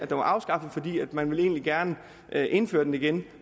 var afskaffet for man ville egentlig gerne indføre den igen